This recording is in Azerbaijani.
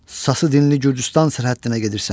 Sası dinli Gürcüstan sərhəddinə gedirsən.